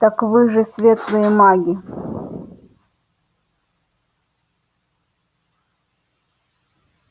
так вы же светлые маги